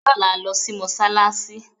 Lọ́la, lọ sí Mọ́ṣálásí!